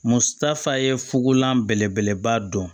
Muso ta fa ye fugola belebeleba dɔn